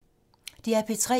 DR P3